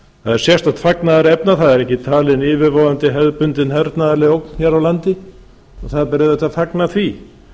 það er sérstakt fagnaðarefni að það er ekki talin yfirvofandi hernaðarleg ógn hér á landi og það ber auðvitað að fagna því